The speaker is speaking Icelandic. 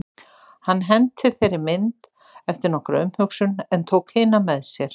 Hann henti þeirri mynd eftir nokkra umhugsun en tók hina með sér.